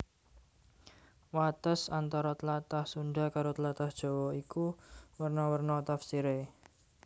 Wates antara tlatah Sundha karo tlatah Jawa iku werna werna tafsiré